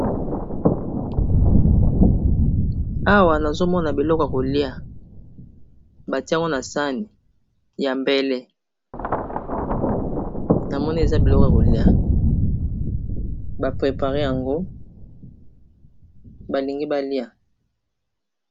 awa nazomona biloko kolia batiango na sane ya mbele na moni eza biloko kolia baprepare yango balingi balia